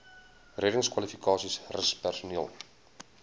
reddingskwalifikasies rus personeel